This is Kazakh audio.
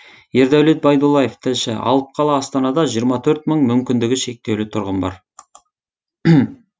ердәулет байдуллаев тілші алып қала астанада жиырма төрт мың мүмкіндігі шектеулі тұрғын бар